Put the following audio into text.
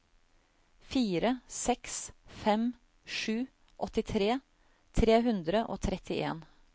fire seks fem sju åttitre tre hundre og trettien